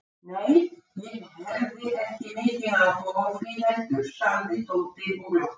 Nei, ég hefði ekki mikinn áhuga á því heldur sagði Tóti og glotti.